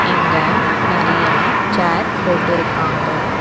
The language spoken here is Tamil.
இங்க நெறையா சேர் போட்டு இருக்காங்க.